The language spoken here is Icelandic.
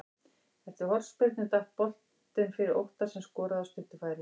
Eftir hornspyrnu datt boltinn fyrir Óttar sem skoraði af stuttu færi.